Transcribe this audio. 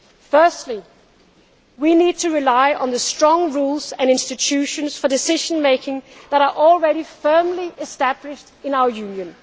Firstly, we need to rely on the strong rules and institutions for decision making that are already firmly established in our